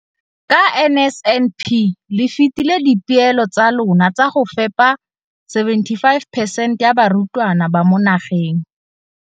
Ka NSNP le fetile dipeelo tsa lona tsa go fepa masome a supa le botlhano a diperesente ya barutwana ba mo nageng.